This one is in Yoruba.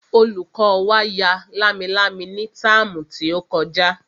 Olùkọ́ wa ya lámilámi ní táàmù tí ó kọjá